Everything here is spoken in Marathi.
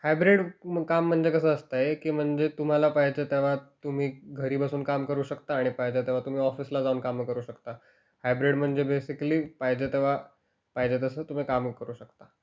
हायब्रीड काम म्हणजे कसं असतंय की म्हणजे तुम्हाला पाहिजे तर तेव्हा तुम्ही घरी बसून काम करू शकता आणि पाहिजे तेव्हा तुम्ही ऑफिसला जाऊन कामं करू शकता. हायब्रीड म्हणजे बेसिकली पाहिजे तेव्हा पाहिजे तसं तुम्ही कामं करू शकता.